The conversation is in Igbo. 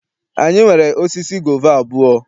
Anyị nwere osisi gova abụọ.